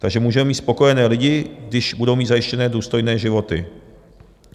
Takže můžeme mít spokojené lidi, když budou mít zajištěné důstojné životy.